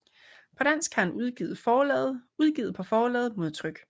På dansk har han udgivet på forlaget Modtryk